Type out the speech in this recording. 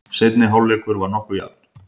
Seinni hálfleikur var nokkuð jafn.